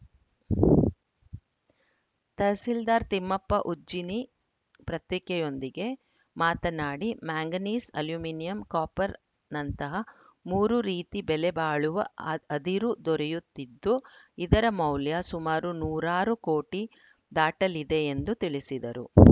ತಹಸೀಲ್ದಾರ್‌ ತಿಮ್ಮಪ್ಪ ಉಜ್ಜಿನಿ ಪ್ರತ್ತಿಕೆಯೊಂದಿಗೆ ಮಾತನಾಡಿ manganese aluminium copper ನಂತಹ ಮೂರು ರೀತಿ ಬೆಲೆ ಬಾಳುವ ಅ ಅದಿರು ದೊರೆಯುತ್ತಿದ್ದು ಇದರ ಮೌಲ್ಯ ಸಮಾರು ನೂರಾರು ಕೋಟಿ ದಾಟಲಿದೆ ಎಂದು ತಿಳಿಸಿದರು